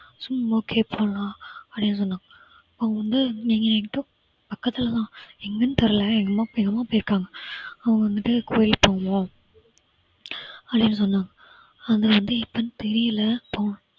சும்மா அப்படியே போகலாம். அப்படின்னு சொன்னாங்க அவங்க வந்து நீங்க எங்க பக்கத்துல தான் எங்கன்னு தெரியல எங்கேயோ போயிருக்காங்க அவங்க வந்துட்டு கோயிலுக்கு போவோம், அப்படின்னு சொன்னாங்க ஆனா வந்து எப்போன்னு தெரியல போனும்